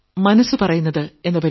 മനസ്സ് പറയുന്നത് 2